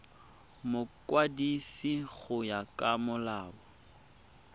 mokwadisi go ya ka molao